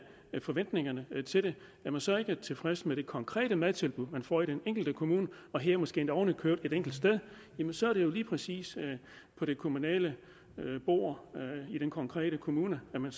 forventningerne til det er man så ikke tilfreds med det konkrete madtilbud man får i den enkelte kommune og her måske oven i købet et enkelt sted jamen så er det jo lige præcis på det kommunale bord i den konkrete kommune man